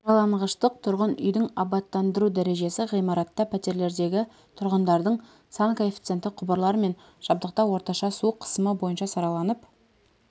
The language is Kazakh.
сараланғыштық тұрғын үйдің абаттандыру дәрежесі ғимаратта пәтерлердегі тұрғындардың сан коэффициенті құбырлар мен жабдықта орташа су қысымы бойынша сараланып